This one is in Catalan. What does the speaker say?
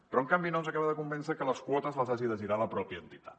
però en canvi no ens acaba de convèncer que les quotes les hagi de girar la mateixa entitat